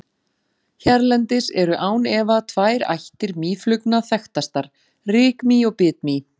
Hérlendis eru án efa tvær ættir mýflugna þekktastar, rykmý og bitmý.